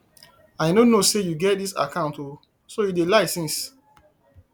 i no know say you get dis account oo so you dey lie since